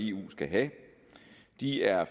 eu skal have de er